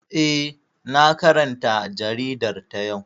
Eh, na karanta jaridar ta yau